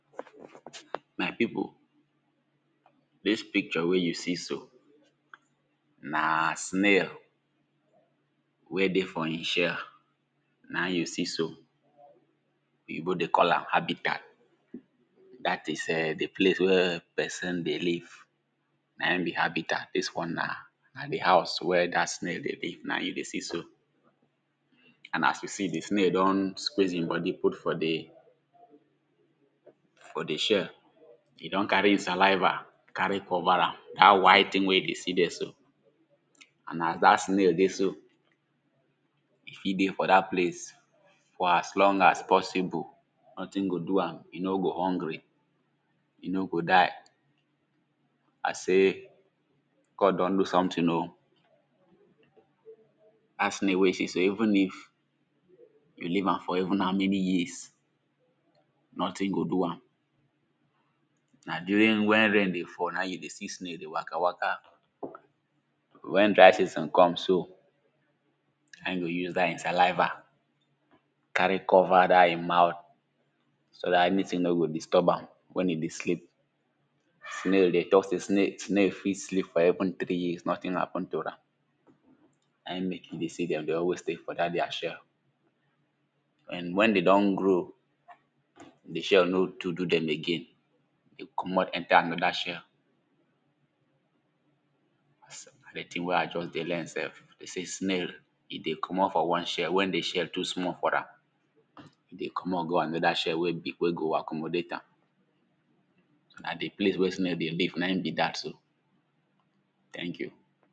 My people dis picture wey you see so, na snail wey dey for e shell, na im you see so. Oyibo dey call am habitat dat is [urn] di place wey person dey live na im be habitat, dis one na na di house wen dat snail dey live, na im you dey see so. As you dey see, di snail don squeeze im body put for di For di shell, e don carry e saliva carry cover am, dat white thing wen you dey see for there so and as dat snail dey so, e fit dey for dat place for as long as possible, nothing go do am, e no go hungry, e no go die, I say God don do something oh. Dat snail wen you see so even if you leave am for even how many years, nothing go do am. Na during wen rain dey fall na im you dey see snail dey waka waka, wen dry season come so na im e go use dat im saliva carry cover dat im mouth so dat any thing nor go disturb am, wen im dey sleep. Snail dem talk sey snail snail fit sleep for even three years nothing happen to am. Na im make you see dem dey always stay for dat dem shell, wen wen dem don grow, di shell no to do dem again, dem komot enter another shell. Na dii thing wen I just dey learn sef, dem sey snail e dey komot for one shell wen di shell too small for am, e dey komot go another shell wey big, wey go accommodate am. Na di place wen snail dey live, na im be dat so thank you.